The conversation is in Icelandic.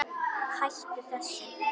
Hættu þessu!